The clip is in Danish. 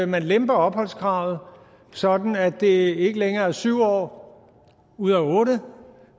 man lemper opholdskravet sådan at det ikke længere er syv år ud af otte